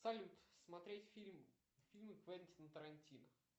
салют смотреть фильм фильмы квентина тарантино